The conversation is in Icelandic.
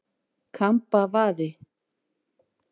Kambavaði